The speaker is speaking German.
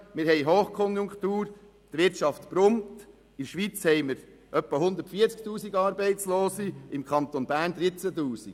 Wir haben Hochkonjunktur, die Wirtschaft boomt, und in der Schweiz haben wir etwa 140 000 Arbeitslose, im Kanton Bern 13 000.